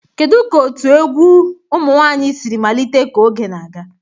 Kedu ka otu egwu egwu ụmụ nwanyị siri malite ka oge na-aga?